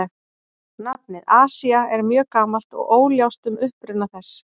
Nafnið Asía er mjög gamalt og óljóst um uppruna þess.